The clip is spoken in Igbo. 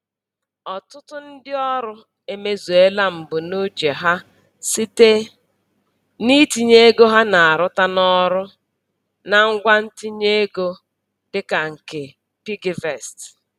Ọtụtụ ndị ọrụ emezuola mbunuche ha site na-itinye ego ha na-arụta n'ọrụ na ngwa ntinye ego dịka nke piggyvest.